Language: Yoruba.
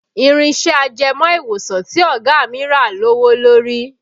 Irin iṣẹ́ ajẹmọ́ ìwòsàn tí ọ̀gá mi rà lówó lórí